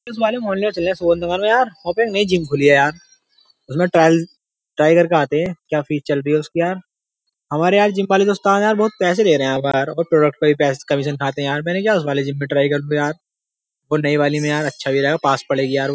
इस वाले मोहल्ले चले यार सुगंध मौर्या यार वहाँ पे नयी जिम खुली है यार उसमें ट्रायल ट्राई करके आते हैं क्या फीस चल रही है उसकी यार हमारे यार जिम वाले जो उस्ताद बहुत पैसे ले रहे है यार हरबार और प्रोडक्ट पे भी बहुत पैसे कमीशन खाते हैं यार मैंने कहा उस नयी वाली जिम में ट्राई करूंगा यार नए वाले में अच्छा भी लगेगा यार और पास भी पड़ेगी यार वो --